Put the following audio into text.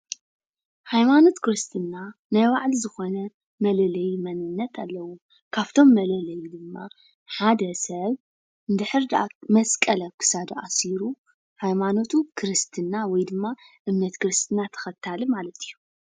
ሃይማኖት ክርስትና ናይ ባዕሉ ዝኮነ መለለይ መንነነት ኣለዎ። ካብቶም መለለይ ድማ ሓደ ሰብ መስቀል እንተድሕር ኣብ ክሳዱ ኣሲሩ ሃይማኖቱ ክርስትና ወይ ድማ እምነቱ ክርስትና ተከታሊ ማለት እዩ።